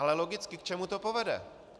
Ale logicky, k čemu to povede?